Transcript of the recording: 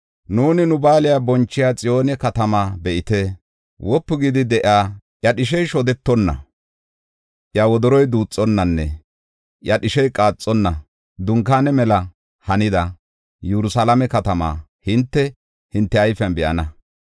Nuuni nu ba7aale bonchiya Xiyoone katamaa be7ite! Wopu gidi de7iya, iya dhishey shodetonna, iya wodoroy duuxonnanne iya dhishey qaaxonna dunkaane mela hanida Yerusalaame katamaa hinte, hinte ayfen be7ana.